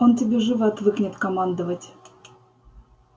он тебе живо отвыкнет командовать